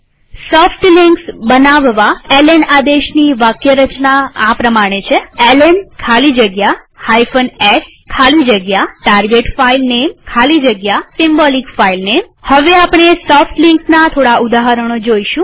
soft links બનાવવા L N આદેશની વાક્યરચના આ પ્રમાણે છે160 એલએન ખાલી જગ્યા s ખાલી જગ્યા target filename ખાલી જગ્યા symbolic filename હવે આપણે સોફ્ટ લિંક્સ ના થોડા ઉદાહરણો જોઈશું